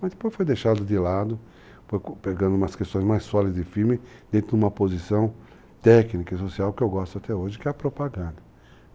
Mas depois foi deixado de lado, foi pegando umas questões mais sólidas e firmes dentro de uma posição técnica e social que eu gosto até hoje, que é a propaganda.